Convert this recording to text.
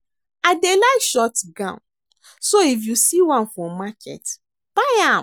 I dey like short gown so if you see one for market buy am